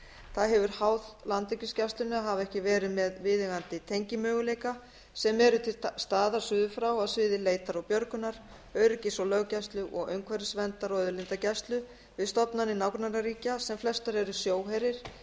það hefur háð landhelgisgæslunni að hafa ekki verið með viðeigandi tengimöguleika sem eru til staðar suður frá á sviði leitar og björgunar öryggis og löggæslu og umhverfisverndar og auðlindagæslu við stofnanir nágrannaríkja sem flestar eru sjóherir